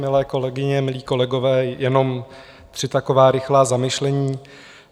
Milé kolegyně, milí kolegové, jenom tři taková rychlá zamyšlení.